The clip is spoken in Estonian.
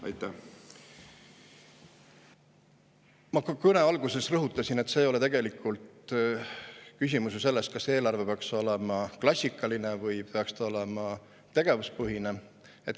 Kohe oma kõne alguses ma rõhutasin, et tegelikult ei ole ju küsimus selles, kas eelarve peaks olema klassikaline või peaks see olema tegevuspõhine.